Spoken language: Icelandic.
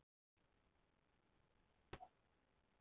Rautt hár er arfgengt.